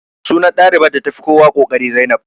Sunan ɗalibar da ta fi kowa ƙoƙari Zainab